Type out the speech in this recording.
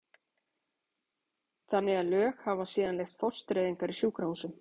þannig að lög hafa síðan leyft fóstureyðingar í sjúkrahúsum.